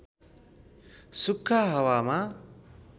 सुख्खा हावामा